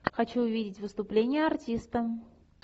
хочу увидеть выступление артиста